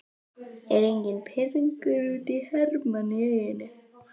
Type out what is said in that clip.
Er enginn pirringur út í Hermann í Eyjum?